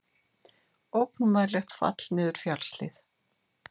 Ógnvænlegt fall niður fjallshlíð